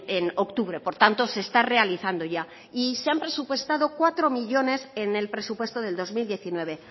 en octubre por tanto se está realizando ya y se ha presupuestado cuatro millónes en el presupuesto del dos mil diecinueve